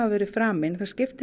voru framin það skiptir